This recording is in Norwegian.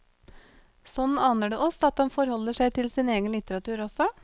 Sånn aner det oss, at han forholder seg til sin egen litteratur også.